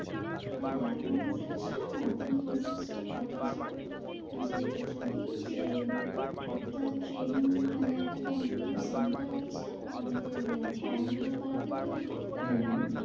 হ্যাঁ অম্বিকা ছিল না? তিনি massage টা পাঠিয়েছেন। যে যদি যে একটা training মানে একটা computer center আছে। আমাদের আহ ট্রায়াঙ্গুলার পার্কের ঐদিকে? হম হম